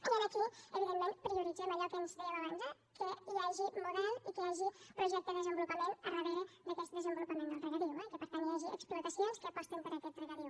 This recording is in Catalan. i aquí evidentment prioritzem allò que dèiem abans eh que hi hagi model i que hi hagi projecte de desenvolupament al darrere d’aquest desenvolupament del regadiu i que per tant hi hagi explotacions que aposten per aquest regadiu